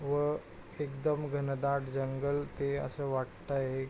व एकदम घनदाट जंगल ते अस वाटतंय.